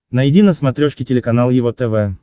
найди на смотрешке телеканал его тв